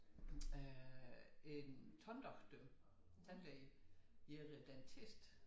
Øh en tanddoktor tandlæge er dentist